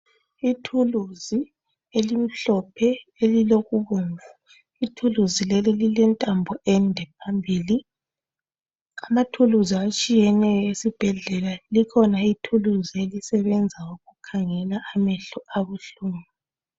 Ithuluzi elimhlophe elilokubomvu ithuluzi leli ilentambo ende phambili amathuluzi atshiyeneyo esibhedlela likhona ithuluzi elisebenza ukukhangela amehlo abuhlungu.